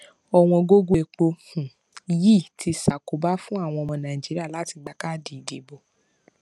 owon gogo epo um yii tun ti sakoba fun awon omo naijiria lati gba kaadi idibo